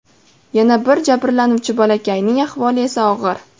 Yana bir jabrlanuvchi bolakayning ahvoli esa og‘ir.